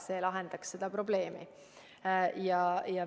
See lahendaks seda probleemi.